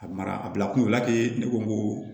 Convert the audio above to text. A mara a bila kun la ten ne ko